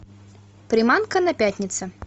приманка на пятнице